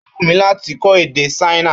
Ó wù mí láti kó èdè ṣáínà